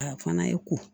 A fana ye ko